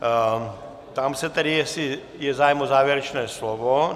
Ptám se tedy, jestli je zájem o závěrečné slovo.